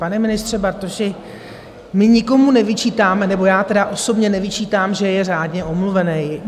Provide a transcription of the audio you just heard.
Pane ministře Bartoši, my nikomu nevyčítáme - nebo já tedy osobně nevyčítám - že je řádně omluvený.